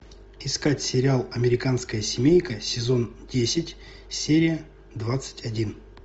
искать сериал американская семейка сезон десять серия двадцать один